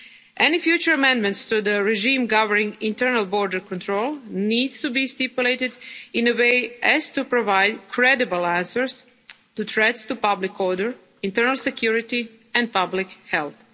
Schengen area. Any future amendments to the regime governing internal border control need to be stipulated in such a way as to provide credible answers to threats to public order, internal security and